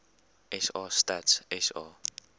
sa stats sa